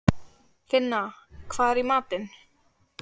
Finna, hvað er í matinn?